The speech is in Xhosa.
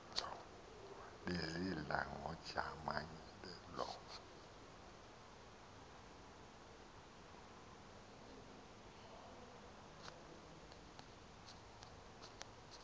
bezidla ngojamangile loo